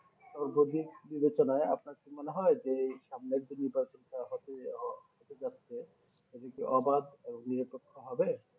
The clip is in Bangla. তো বিবেক বিবেচনায় আপনার কি মনে হয় যে এই সামনের যে নির্বাচনটা হতে হতে যাচ্ছে এরা কি অবাধ নিরপেক্ষ হবে